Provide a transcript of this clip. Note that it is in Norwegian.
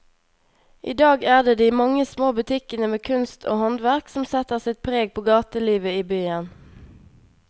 I dag er det de mange små butikkene med kunst og håndverk som setter sitt preg på gatelivet i byen.